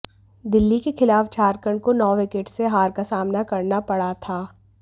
दिल्ली के खिलाफ झारखंड को नौ विकेट से हार का सामना करना पड़ा था